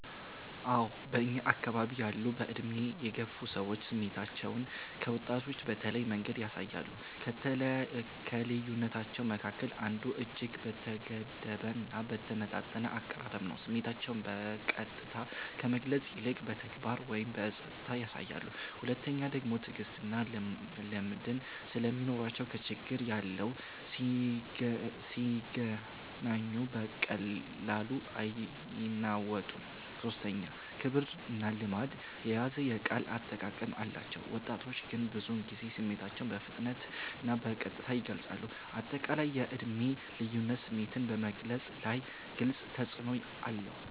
አዎ በእኛ አከባቢ ያሉ በዕድሜ የገፉ ሰዎች ስሜታቸውን ከወጣቶች በተለየ መንገድ ያሳያሉ። ከልዩነታቸዉ መካከል አንዱ እጅግ የተገደበ እና የተመጣጠነ አቀራረብ ነው፤ ስሜታቸውን በቀጥታ ከመግለጽ ይልቅ በተግባር ወይም በጸጥታ ያሳያሉ። ሁለተኛዉ ደግሞ ትዕግስትና ልምድ ስለሚኖራቸው ከችግር ጋር ሲገናኙ በቀላሉ አይናወጡም። ሶስተኛ ክብርና ልማድ የያዘ የቃል አጠቃቀም አላቸው፤ ወጣቶች ግን ብዙ ጊዜ ስሜታቸውን በፍጥነትና በቀጥታ ይገልጻሉ። አጠቃላይ የዕድሜ ልዩነት ስሜትን በመግለፅ ላይ ግልጽ ተፅዕኖ አለው።